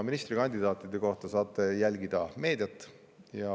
Ministrikandidaatide kohta saate jälgida meediast.